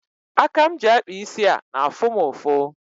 Aka m ji akpa isi a na-afụ m ụfụ.